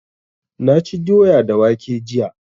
Na ci doya da waƙe jiya